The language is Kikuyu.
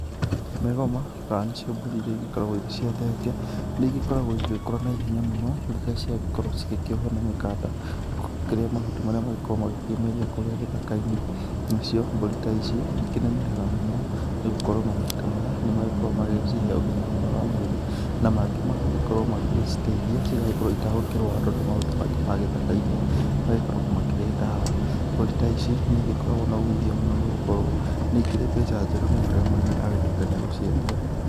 Mĩgoma, kana nĩcio mbũri iria igĩkoragwo irĩ cia thenge nĩigĩkoragwo igĩkũra na ihenya mũno rĩrĩa ciagĩkorwo cigĩkiohwo na mĩkanda ikĩrĩa mahuti marĩa magĩkoragwo magĩkĩmeria kũũrĩa gĩthaka-inĩ. Nacio mbũri ta ici ikĩnenehaga mũno nĩgũkorwo mahuti ta maya nĩmagĩkoragwo magĩcihe ũgima mwega wa mwĩrĩ na mangĩ magagĩkorwo magĩciteithia cigagĩkorwo itegũkĩrwara tondũ mahuti maingĩ ma gĩthaka-inĩ magĩkoragwo makĩrĩ dawa. Mbũri ta ici nĩigĩkoragwo na uumithio mũno nĩgũkorwo nĩikĩrĩ mbeca njega mũno rĩrĩa mũrĩmi agĩtuĩka niegũciendia.